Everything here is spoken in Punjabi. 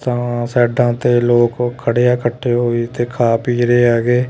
ਤਾਂ ਸਾਈਡਾਂ ਤੇ ਲੋਕ ਖੜੇ ਆ ਇਕੱਠੇ ਹੋਈ ਤੇ ਖਾ ਪੀ ਰਹੇ ਹੈਗੇ।